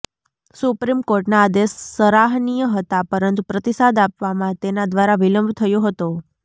સુપ્રીમકોર્ટના આદેશ સરાહનીય હતા પરંતુ પ્રતિસાદ આપવામાં તેના દ્વારા વિલંબ થયો હતો